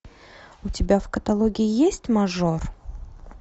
у тебя в каталоге есть мажор